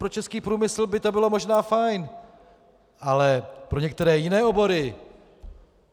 Pro český průmysl by to bylo možná fajn, ale pro některé jiné obory?